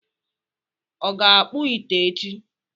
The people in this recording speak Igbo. Ọ ga-akpụ ite echi?